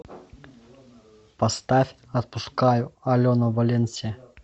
поставь отпускаю алена валенсия